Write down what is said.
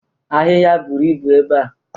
Ahịhịa buru ibu ebe a.